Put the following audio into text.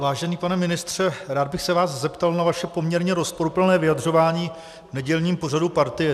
Vážený pane ministře, rád bych se vás zeptal na vaše poměrně rozporuplné vyjadřování v nedělním pořadu Partie.